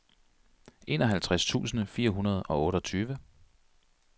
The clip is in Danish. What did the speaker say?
enoghalvtreds tusind fire hundrede og otteogtyve